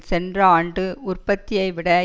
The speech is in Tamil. சென்ற ஆண்டு உற்பத்தியைவிட